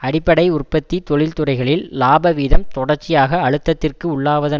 அடிப்படை உற்பத்தி தொழிற்துறைகளில் இலாபவீதம் தொடர்ச்சியாக அழுத்தத்திற்கு உள்ளாவதன்